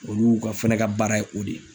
Olu fɛnɛ ka baara ye o de ye.